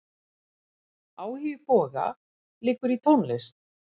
Áhugi Boga liggur í tónlist.